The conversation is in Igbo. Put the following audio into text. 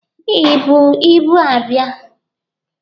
Ị bu ibu abịa?